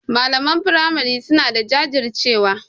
Malaman firamari suna da jajircewa.